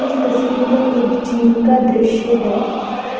इस तस्वीर में एक जिम का दृश्य है